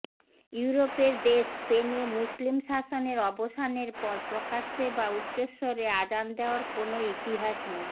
ইউরোপের দেশ স্পেনে মুসলিম শাসনের অবসানের পর প্রকাশ্যে বা উচ্চস্বরে আজান দেয়ার কোনো ইতিহাস নেই